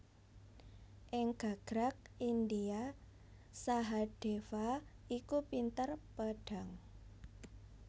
Ing gagrag India Sahadéva iku pinter pedhang